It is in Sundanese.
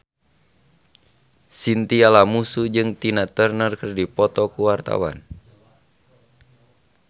Chintya Lamusu jeung Tina Turner keur dipoto ku wartawan